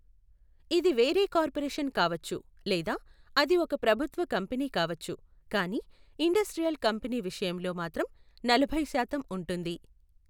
ఇది వేరే కార్పొరేషన్ కావచ్చు లేదా అది ఒక ప్రభుత్వ కంపెనీ కావచ్చు కానీ ఇండస్ట్రీయల్ కంపెనీ విషయంలో మాత్రం నలభై శాతం ఉంటుంది.